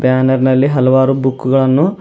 Banner ನಲ್ಲಿ ಹಲವಾರು book ಗಳನ್ನು.